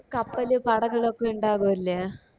കപ്പല് കടകളൊക്കെ ഇണ്ടാകൂല്ലേ